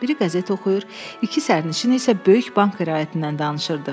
Biri qəzet oxuyur, iki sərnişin isə böyük bank iraidindən danışırdı.